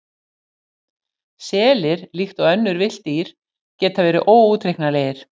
Selir, líkt og önnur villt dýr, geta verið óútreiknanlegir.